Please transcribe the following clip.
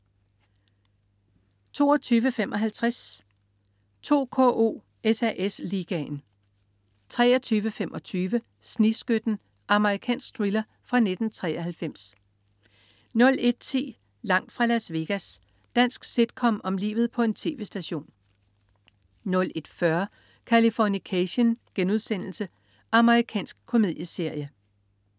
22.55 2KO: SAS Ligaen 23.25 Snigskytten. Amerikansk thriller fra 1993 01.10 Langt fra Las Vegas. Dansk sitcom om livet på en tv-station 01.40 Californication.* Amerikansk komedieserie